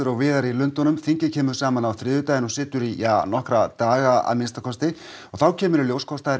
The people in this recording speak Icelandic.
og víðar í Lundúnum þingið kemur saman á þriðjudaginn í nokkra daga að minnsta kosti og þá kemur í ljós hvort það er